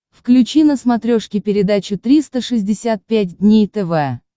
включи на смотрешке передачу триста шестьдесят пять дней тв